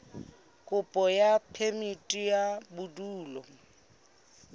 kopo ya phemiti ya bodulo